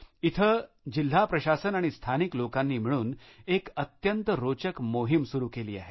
इथे जिल्हा प्रशासन आणि स्थानिक लोकांनी मिळून एक अत्यंत रोचक मोहीम सुरु केली आहे